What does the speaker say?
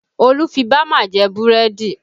Olu fi bama jẹ búrẹ́dì